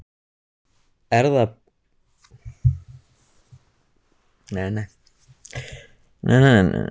Er það Björg eða Björk?